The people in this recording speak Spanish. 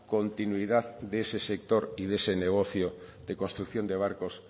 continuidad de ese sector y de ese negocio de construcción de barcos